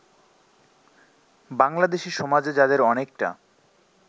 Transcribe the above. বাংলাদেশী সমাজে যাদের অনেকটা